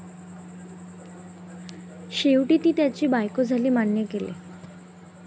शेवटी, ती त्याची बायको झाली मान्य केले.